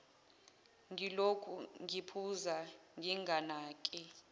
ngilokhu ngiphuza nginganake